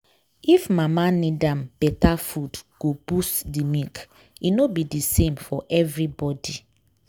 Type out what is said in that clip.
if mama need am better food go boost the milk. e no be the same for everybody.